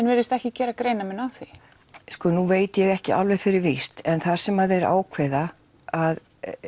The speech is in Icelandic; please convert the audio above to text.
virðist ekki gera greinarmun á því sko nú veit ég ekki alveg fyrir víst en það sem þeir ákveða að